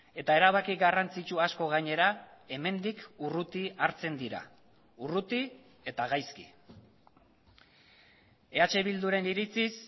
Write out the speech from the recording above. eta erabaki garrantzitsu asko gainera hemendik urruti hartzen dira urruti eta gaizki eh bilduren iritziz